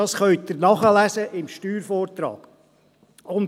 Dies können Sie im Steuervortrag nachlesen.